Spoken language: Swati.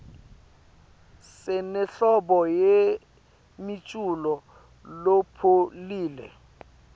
sinenhlobo yemiculo lopholile